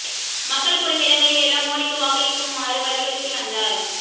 மக்கள் கூடும் இடங்களில் எல்லாம் மோடிக்கு வாக்களிக் குமாறு வலியுறுத்தி வந்தார்